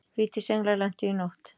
Vítisenglar lentu í nótt